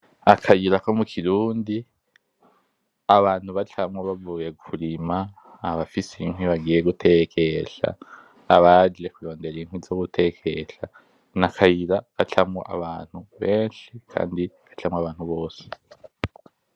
Akayira ko mu kirundi abantu bacamwo bavuye kurima abafise inkwi bagiye gutekesha abaje kurondera inkwi zo gutekesha, ni akayira gacamwo abantu benshi kandi gacamwo abantu bose.